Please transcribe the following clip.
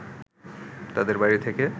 তাদের বাড়ি থেকে